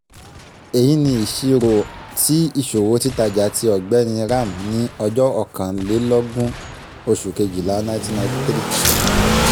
èyí ni ìṣirò ti ìṣòwò títajà ti ọ̀gbẹ́ni ram ní ọjọ́ ọ̀kanlélógún oṣù kejìlá nineteen ninety three:.